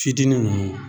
Fitinin nunnu